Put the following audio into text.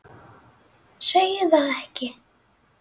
Segir það ekki?